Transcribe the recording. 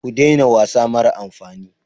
Ku daina wasa mara amfani.